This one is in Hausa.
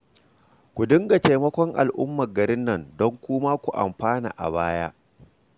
Ku dinga taimakon al'ummar garin nan don ku ma kun amfana a baya